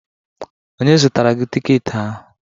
Onye zụtara gị tiketi ahụ?